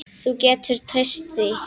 Þú getur treyst því.